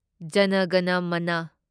ꯖꯅ ꯒꯅ ꯃꯅ